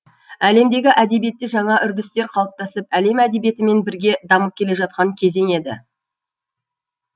әлемдегі әдебиетте жаңа үрдістер қалыптасып әлем әдебиетімен бірге дамып келе жатқан кезең еді